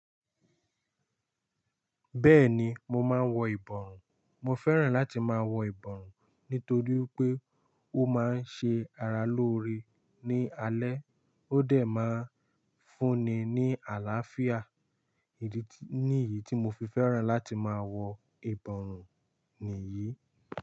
Bẹ́ẹ̀ni mo máa ń wọ ìbọrùn. Mo fẹ́ràn láti máa wọ ìbọrùn nítorí pé ó máa ń ṣe ara lóore ní alẹ́, ó dẹ̀ máa ń fúnni ní àlàáfíà. Nìyí tí mo fi fẹ́ràn láti máa wọ ìbọrùn nìyí.